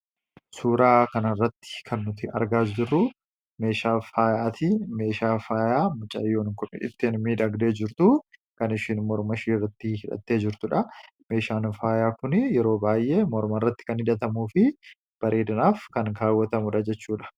Suura kana irratti kan argaa jirru meeshaa faayaati. Meeshaan faayaa mucayyoon Kun ittiin miidhagdee jirtu kan isheen morma isheerratti hidhattee jirtudha. Meeshaan Kun yeroo baay'ee morma irratti kan kaawwatamuu fi miidhaginaaf kan ooludha.